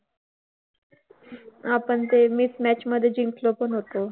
आपण ते mismatch मधे जिंकलो पण होतो.